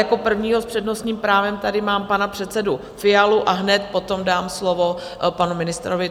Jako prvního s přednostním právem tady mám pana předsedu Fialu a hned potom dám slovo panu ministrovi.